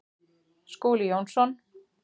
Skúli Jónsson